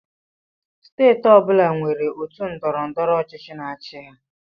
Steeti ọ bụla nwere otu ndọrọndọrọ ọchịchị na-achị.